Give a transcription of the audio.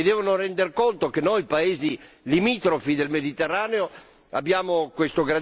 Si devono rendere conto che noi, paesi limitrofi del Mediterraneo, abbiamo questo grandissimo problema.